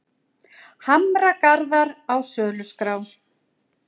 Hamragarðar á söluskrá